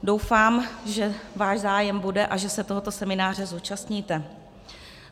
Doufám, že váš zájem bude a že se tohoto semináře zúčastníte.